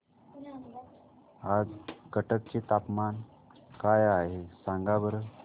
आज कटक चे तापमान काय आहे सांगा बरं